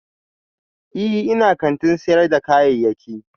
Ee, ina kantin sayar da kayayyaki